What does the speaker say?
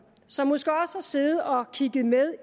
som måske også har siddet og kigget med